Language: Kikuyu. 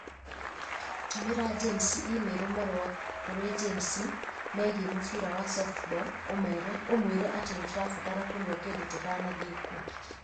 Tũmĩra James i-mīrū marũa kũrĩ James megiĩ mũbira wa softball ũmwĩre atĩ nĩ tũrabatara kũnyua kĩndũ tũtanathiĩ kuo